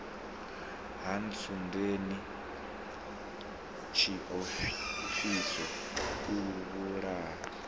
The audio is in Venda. ha ntsundeni tshiofhiso o vhulaha